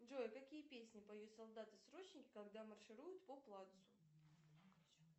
джой какие песни поют солдаты срочники когда маршируют по плацу